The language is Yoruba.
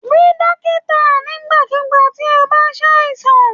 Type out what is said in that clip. Rí dókítà nigbakugba ti o bá s'àìsàn.